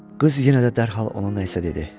Qız yenə də dərhal ona nə isə dedi.